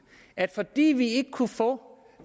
at fordi de ikke kunne få